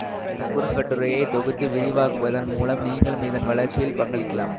இந்த குறுங்கட்டுரையை தொகுத்து விரிவாக்குவதன் மூலம் நீங்களும் இதன் வளர்ச்சியில் பங்களிக்கலாம்